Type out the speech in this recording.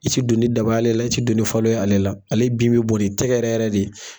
I ti don ni daba ye ale la i ti don ni falo ye ale la ale bin bi bɔn ni tɛgɛ yɛrɛ yɛrɛ de ye.